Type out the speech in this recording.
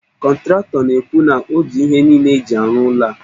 Kọntratọ na-ekwu na o ji ihe niile e ji arụ ụlọ a